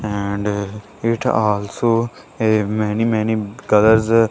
and uh it also a many many colours --